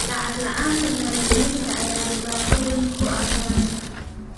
Lacag la'aanta maalgelinta ayaa dhibaato weyn ku ah taranta.